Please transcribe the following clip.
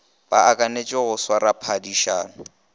le akantše go swara phadišano